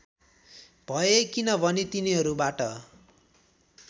भए किनभने तिनीहरूबाट